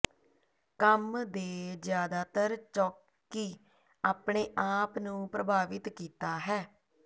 ਕੰਮ ਦੇ ਜ਼ਿਆਦਾਤਰ ਚੌਕੀ ਆਪਣੇ ਆਪ ਨੂੰ ਪ੍ਰਭਾਵਿਤ ਕੀਤਾ ਹੈ